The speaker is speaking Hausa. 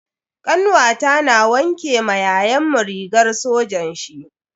Kanwata na wanke ma yayanmu rigar sojan shi.